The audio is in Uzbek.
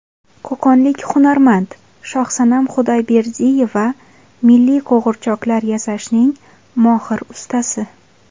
Qo‘qonlik hunarmand Shohsanam Xudoyberdiyeva milliy qo‘g‘irchoqlar yasashning mohir ustasi.